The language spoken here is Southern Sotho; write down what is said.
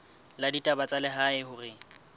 la ditaba tsa lehae hore